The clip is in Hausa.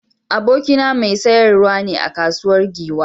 Abokina mai sayarwa ne a kasuwar Giwa.